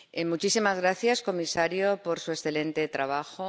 Muchísimas gracias, comisario, por su excelente trabajo.